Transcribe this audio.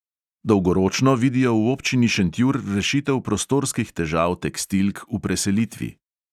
Dolgoročno vidijo v občini šentjur rešitev prostorskih težav tekstilk v preselitvi.